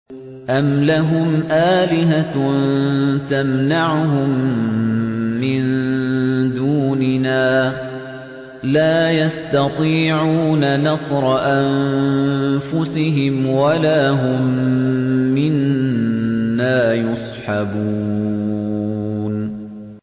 أَمْ لَهُمْ آلِهَةٌ تَمْنَعُهُم مِّن دُونِنَا ۚ لَا يَسْتَطِيعُونَ نَصْرَ أَنفُسِهِمْ وَلَا هُم مِّنَّا يُصْحَبُونَ